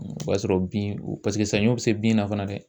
O b'a sɔrɔ bin o paseke saɲɔ be se bin na fana dɛ